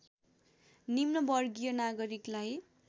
निम्न वर्गीय नागरिकलाई